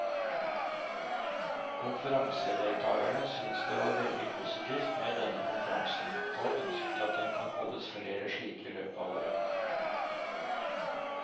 Konferansedeltakerne syntes det var veldig positivt med denne konferansen, og ønsket at det kan holdes flere slike i løpet av året.